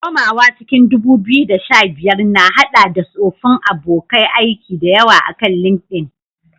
Komawa cikin 2015, na haɗa da tsoffin abokan aiki da yawa akan LinkedIn.